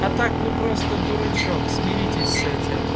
а так вы просто дурачок смиритесь с этим